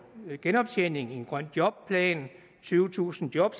genoptjening og en grøn jobplan tyvetusind job